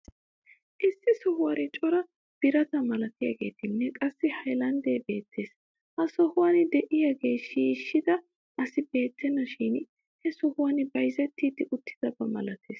Issi sohuwan cora birata malatiyaageenne qassi haylandee beettes. He sohuwan de'iyaagaa shiishida asi beettena shin he sohuwa bayzetiidi uttidaba malates.